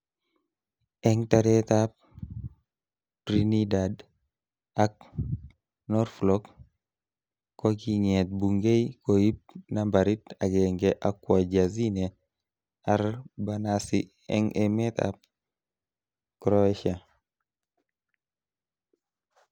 Eng taret ab Trinidad ak Norflok kokinget Bungei koib nambarit akenge akwo Jazine Arbanasi eng emet ab Croatia.